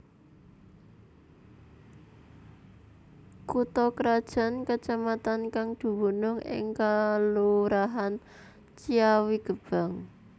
Kutha krajan kacamatan kang dumunung ing kalurahan Ciawigebang